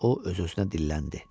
deyə o öz-özünə dilləndi.